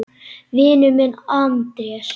Vinur minn Andrés!